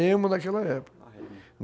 daquela época